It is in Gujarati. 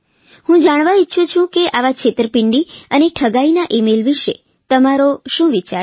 હું જાણવા ઇચ્છંા કે આવા છેતરપીંડી અને ઠગાઇના ઇમેઇલ વિષે તમારો શું વિચાર છે